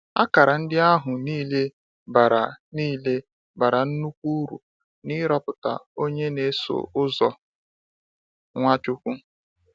Akara ndị ahụ niile bara niile bara nnukwu uru n’ịrọpụta onye na -eso ụzọ Nwachukwu.